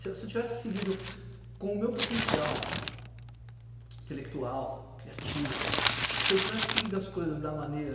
Se se eu tivesse seguido com o meu potencial intelectual, criativo, se eu tivesse seguido as coisas da maneira